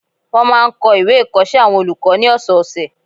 Wọ́n máa n kọ ìwé ìkọsẹ́ àwọn olùkọ́ ní ọ̀sọ̀ọ̀sẹ̀